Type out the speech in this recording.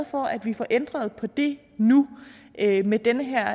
for at vi får ændret på det nu med det her